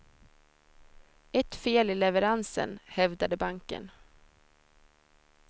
Ett fel i leveransen, hävdade banken.